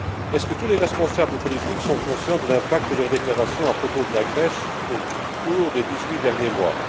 Est ce que tous les responsables politiques sont conscients de l'impact de leurs déclarations à propos de la Grèce au cours des dix huit derniers mois?